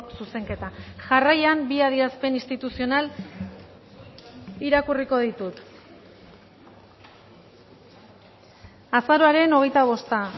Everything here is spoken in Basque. zuzenketa jarraian bi adierazpen instituzional irakurriko ditut azaroaren hogeita bosta